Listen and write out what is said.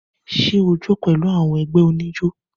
Ṣẹ o jó pẹ̀lú àwọn ẹgbẹ́ oníjó?